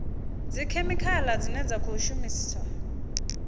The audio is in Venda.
dzikhemikhala dzine dza khou shumiswa